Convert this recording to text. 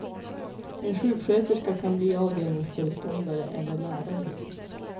En sjuksköterska kan bli avdelningsföreståndare eller lärare.